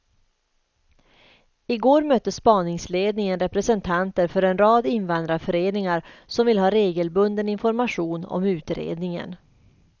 I går mötte spaningsledningen representanter för en rad invandrarföreningar som vill ha regelbunden information om utredningen.